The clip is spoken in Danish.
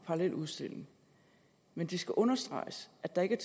parallel udstilling men det skal understreges at der ikke